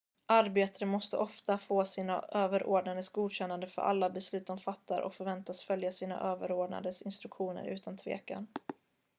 arbetare måste ofta få sina överordnades godkännande för alla beslut de fattar och förväntas följa sina överordnades instruktioner utan tvekan